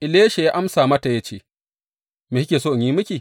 Elisha ya amsa mata ya ce, Me kike so in yi miki?